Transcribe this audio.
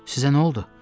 Sizə nə oldu?